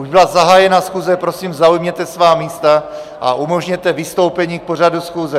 Už byla zahájena schůze, prosím, zaujměte svá místa a umožněte vystoupení k pořadu schůze.